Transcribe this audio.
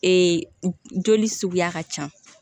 joli suguya ka ca